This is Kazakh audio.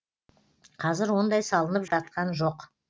қазір ондай салынып жатқан жоқ